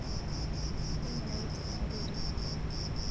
inguraki tenairorie